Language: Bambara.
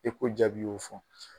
jaabi y'o fɔ.